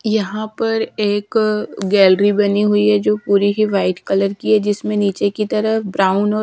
यहाँ पर एक गैलरी बनी हुई है जो पूरी ही वाइट कलर की है जिसमें नीचे की तरफ ब्राउन और--